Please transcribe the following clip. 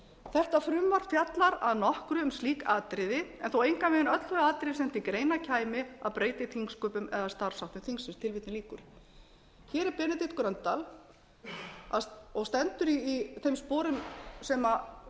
þetta frumvarp fjallar að nokkru um slík atriði en þó engan veginn öll þau atriði sem til greina kæmi að breyta í þingsköpum eða starfsháttum þingsins hér er benedikt gröndal og stendur í þeim sporum sem